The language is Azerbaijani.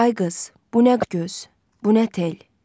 Ay qız, bu nə göz, bu nə tel.